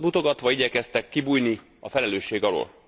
mutogatva igyekeztek kibújni a felelősség alól.